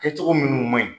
Kɛ cogo minnu man ɲi